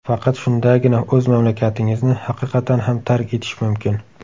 Faqat shundagina o‘z mamlakatingizni haqiqatan ham tark etish mumkin.